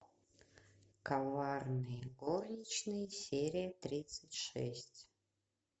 коварные горничные серия тридцать шесть